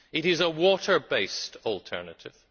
It is a water based alternative.